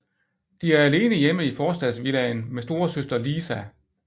De er alene hjemme i forstadsvillaen med storesøster Lisa